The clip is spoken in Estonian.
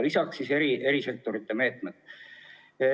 Lisaks on veel teiste sektorite meetmed.